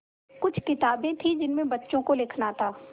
कुछ किताबें थीं जिनमें बच्चों को लिखना था